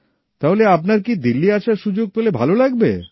তাহলে আপনার কি দিল্লী আসার সুযোগ পেলে ভাল লাগবে